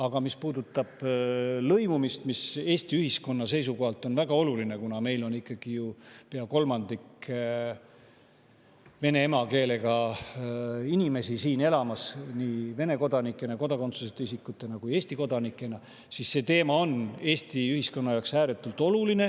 Aga mis puudutab lõimumist, siis see teema on Eesti ühiskonna jaoks väga oluline, kuna meil elab siin pea kolmandik vene emakeelega inimesi, nii Vene kodanikena, kodakondsuseta isikutena kui ka Eesti kodanikena.